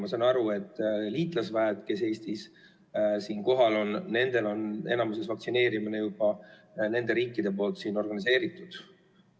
Ma saan aru, et liitlasüksustel, kes Eestis kohal on, on enamikus vaktsineerimine juba nende riikide organiseeritud.